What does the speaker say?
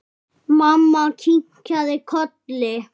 Mamma kinkaði kolli.